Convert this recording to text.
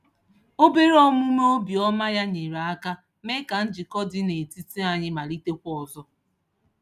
Obere omume obiọma ya nyeere aka mee ka njikọ dị n'etiti anyị malitekwa ọzọ.